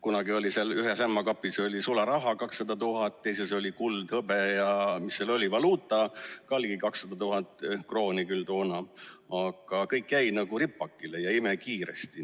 Kunagi oli ühes ämma kapis sularaha 200 000, teises oli kuld ja hõbe, ja mis seal oli, valuuta, ka ligi 200 000 krooni küll toona, aga kõik jäi ripakile ja imekiiresti.